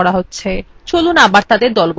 চলুন আবার তাদের দলবদ্ধ করা যাক